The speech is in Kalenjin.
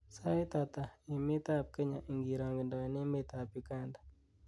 sait ata en emet ab kenya ingirogendoen emet ab uganda